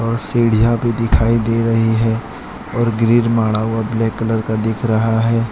सीढ़ियां भी दिखाई दे रही है और ग्रील माढ़ा हुआ ब्लैक कलर का दिख रहा है।